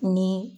Ni